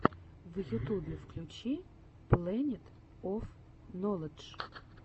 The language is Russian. в ютюбе включи плэнет оф ноладж